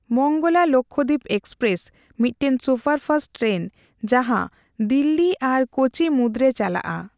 Mangala Lakshadweep express ᱢᱤᱫᱴᱟᱝ superfast train ᱡᱟᱦᱟᱸ ᱫᱤᱞᱞᱤ ᱟᱨ ᱠᱳᱪᱤ ᱢᱩᱫᱨᱮ ᱪᱟᱞᱟᱜᱼᱟ ᱾